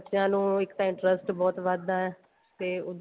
ਬੱਚਿਆ ਨੂੰ ਇੱਕ ਤਾਂ interest ਬਹੁਤ ਵੱਧਦਾ ਤੇ